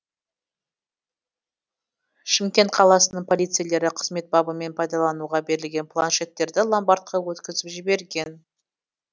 шымкент қаласының полицейлері қызмет бабымен пайдалануға берілген планшеттерді ломбардқа өткізіп жіберген